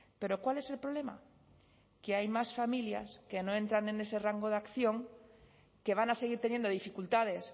pero cuál es el problema que hay más familias que no entran en ese rango de acción que van a seguir teniendo dificultades